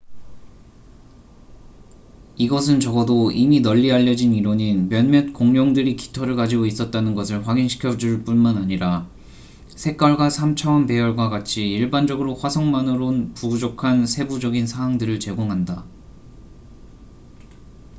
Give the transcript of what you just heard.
이것은 적어도 이미 널리 알려진 이론인 몇몇 공룡들이 깃털을 가지고 있었다는 것을 확인 시켜 줄 뿐만 아니라 색깔과 3차원 배열과 같이 일반적으로 화석만으론 부족한 세부적인 사항들을 제공한다